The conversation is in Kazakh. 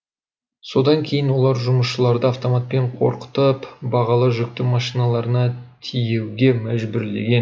содан кейін олар жұмысшыларды автоматпен қорқытып бағалы жүкті машиналарына тиеуге мәжбүрлеген